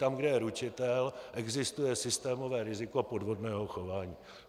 Tam, kde je ručitel, existuje systémové riziko podvodného chování.